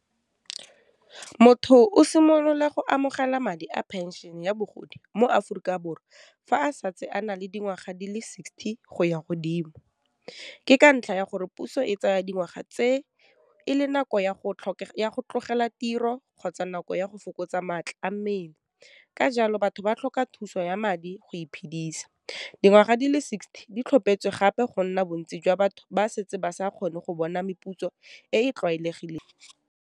Motho o simolola go amogela madi a phenšene ya bogodi mo Aforika Borwa fa a santse a na le dingwaga di le sixty go ya godimo, ke ka ntlha ya gore puso e tsaya dingwaga tse e le nako ya go tlogela tiro, kgotsa nako ya go fokotsa maatla a mmele, ka jalo batho ba tlhoka thuso ya madi go iphedisa, dingwaga di le sixty di tlhopetswe gape go nna bontsi jwa batho ba setse ba sa kgone go bona meputso e e tlwaelegileng.